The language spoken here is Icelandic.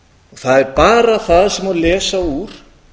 það er bara það sem má lesa úr